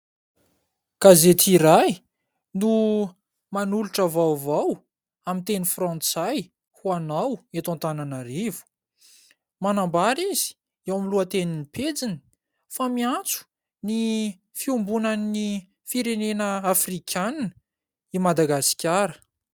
Gazety iray no manolotra vaovao amin'ny teny frantsay ho anao eto Antananarivo. Manambara izy eo amin'ny lohateniny pejiny fa miantso ny fiombonan'ny firenena afrikana i Madagasikara.